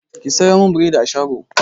Ki sayo min bredin a shago!